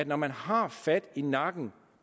når man har fat i nakken